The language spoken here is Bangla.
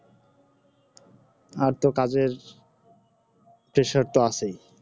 আর ত কাজের pressure তো আছেই